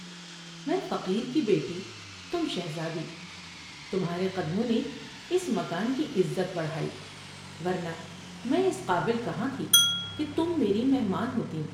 میں فقیر کی بیٹی تم شہزادی تمھارے قدموں نے اس مکان کی عزت بڑھائی ورنہ میں اس قابل کہاں تھی کہ تم میری مہمان ہوتیں ۔